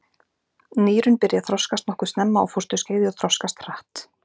Nýrun byrja að þroskast nokkuð snemma á fósturskeiði og þroskast hratt.